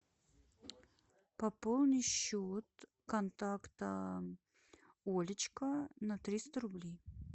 пополни счет контакта олечка на триста рублей